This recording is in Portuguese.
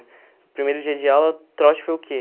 No primeiro dia de aula, trote foi o quê?